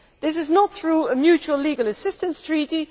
This is not through a mutual legal assistance treaty